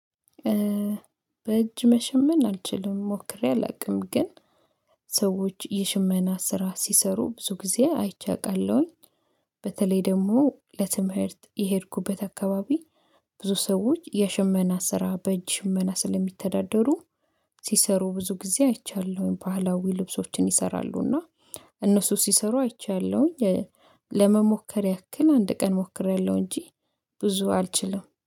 በእጅ መሸመን አልችልም ሞክሬ አላውቅም። ግን ሰዎች የሽመና ስራ ሲሰሩ ብዙ ጊዜ አይቼ አዉቃለሁኝ። በተለይ ደግሞ ለትምህርት የሄድኩበት አካባቢ ብዙ ሰዎች የሽመና ስራ በእጅ ሽመና ስለሚተዳደሩ። ሲሰሩ ብዙ ጊዜ አይቻለሁኝ ባህላዊ ልብሶችን ይሰራሉና እነሱ ሲሰሩ አይቻለሁኝ። ለመሞከር ያክል አንድ ቀን ሞክሬያለሁ እንጂ ብዙ አልችልም